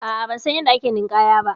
A'a bansan yanda ake ninƙaya ba.